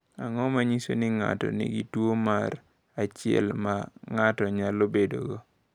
Ang’o ma nyiso ni ng’ato nigi tuwo mar 1 ma ng’ato nyalo bedogo?